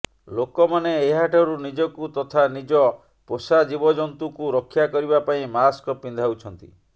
ଲୋକମାନେ ଏହାଠାରୁ ନିଜକୁ ତଥା ନିଜ ପୋଷା ଜୀବ ଜନ୍ତୁଙ୍କୁ ରକ୍ଷା କରିବା ପାଇଁ ମାସ୍କ ପିନ୍ଧାଉଛନ୍ତି